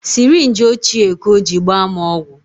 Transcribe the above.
Sirinji ochie ka o ji gbaa m ọgwụ